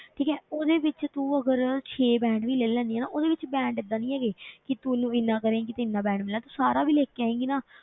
ਠੀਕ ਹੈ ਉਹਦੇ ਵਿੱਚ ਤੂੰ ਅਗਰ ਛੇ band ਵੀ ਲੈ ਲੈਨੀ ਹੈ ਨਾ, ਉਹਦੇ ਵਿੱਚ band ਏਦਾਂ ਨੀ ਹੈਗ ਕਿ ਤੂੰ ਉਹਨੂੰ ਇੰਨਾ ਕਰੇਂਗੀ ਤੇ ਇੰਨਾ band ਮਿਲਣਾ, ਤੂੰ ਸਾਰਾ ਵੀ ਲਿਖ ਕੇ ਆਏਂਗੀ ਨਾ,